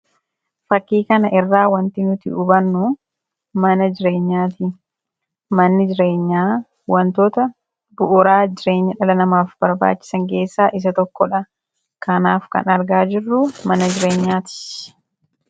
Fakkii kanarraa wanti nuti hubannu mana jireenyaati. Manni jireenyaa wantoota bu'uuraa jireenya dhala namaaf barbaachisan keessaa isa tokkodha. Kanaaf kan argaa jirru mana jireenyaati.